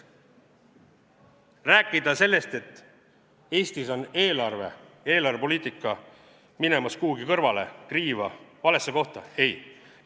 Rääkida sellest, et Eestis on eelarve, eelarvepoliitika minemas kuhugi kõrvale, kriiva, valesse kohta – ei.